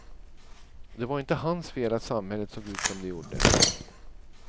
Det var inte hans fel att samhället såg ut som det gjorde.